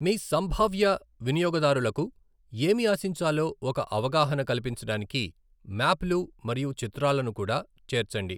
మీ సంభావ్య వినియోగదారులకు ఏమి ఆశించాలో ఒక అవగాహన కల్పించడానికి మ్యాప్లు మరియు చిత్రాలను కూడా చేర్చండి.